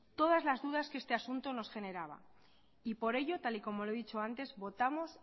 todas las dudas que este asunto nos generaba y por ello tal y como lo he dicho antes votamos